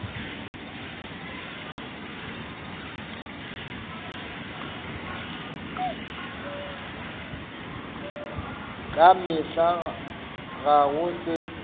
ka mehla ga go se